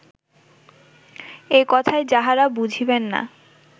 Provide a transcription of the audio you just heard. এ কথায় যাঁহারা বুঝিবেন না